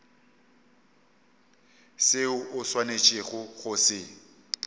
seo o swanetšego go se